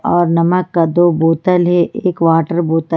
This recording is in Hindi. और नमक का दो बोतल है एक वाटर बोतल--